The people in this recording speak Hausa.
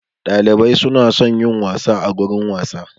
Dalibai su na son yin wasa a gurin wasa.